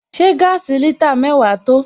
Ṣé gaasi litre mẹ́wàá tó?